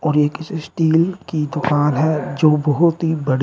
और ये एक स्टील की दुकान है जो बहोत ही बड़ी--